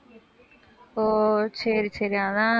ஓ, சரி சரி. அதான்